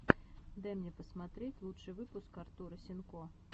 дай мне посмотреть лучший выпуск артура сенко